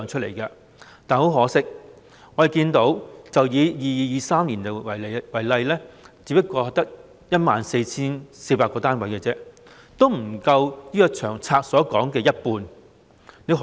但很可惜，以 2022-2023 年度為例，我們看到建屋量只有 14,400 個單位，不足《長策》所說的一半。